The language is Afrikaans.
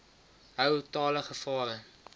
hou talle gevare